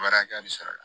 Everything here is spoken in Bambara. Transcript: Wari hakɛya bɛ sɔrɔ a la